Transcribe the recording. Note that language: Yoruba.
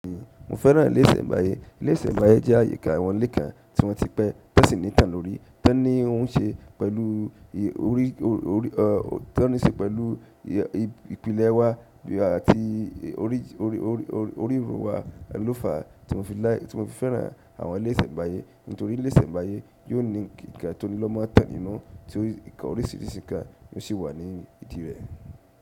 Mo fẹ́ràn ilé ìsẹ̀mbáyé. Ilé ìsẹ̀mbáyé jẹ́ ààyè kán, àwọn ilé kan tí wọ́n ti pẹ́, ti wọn si ní ìtàn lórí, tó ní óún ṣe pẹ̀lú ìpìlẹ̀ wá àti orírun wa, lo faà, tí mo fi fẹ́ràn àwọn ilé ìsẹ̀mbáyé. Nítorí ilé ìsẹ̀mbáyé yóò ní ǹkan tó lọ́ mọn ìtàn nínú, tí oríṣìíríṣìí ǹkan yóò ṣe wà ní ìdí rẹ̀.